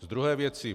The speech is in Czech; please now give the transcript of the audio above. Z druhé věci.